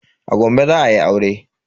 A Gombe za ayi aure.